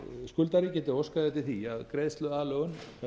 skuldari geti óskað eftir því að greiðsluaðlögun